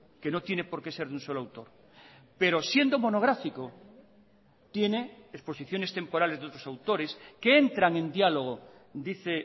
que no tiene por que ser de un solo autor pero siendo monográfico tiene exposiciones temporales de otros autores que entran en diálogo dice